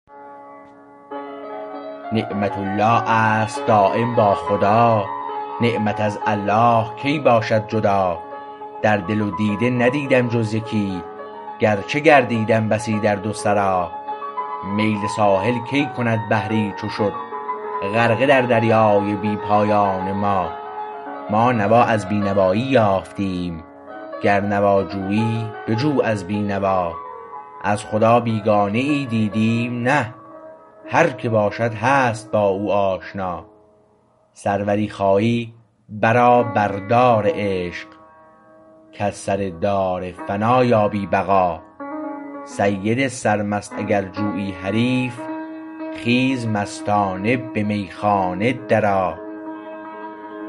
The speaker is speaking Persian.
نعمت الله است دایم با خدا نعمت از الله کی باشد جدا در دل و دیده ندیدم جز یکی گرچه گردیدم بسی در دو سرا میل ساحل کی کند بحری چو شد غرقه در دریای بی پایان ما ما نوا از بی نوایی یافتیم گر نوا جویی بجو از بینوا از خدا بیگانه ای دیدیم نه هر که باشد هست با او آشنا سروری خواهی برآ بر دار عشق کز سردار فنا یابی بقا سید سرمست اگر جویی حریف خیز مستانه به میخانه درآ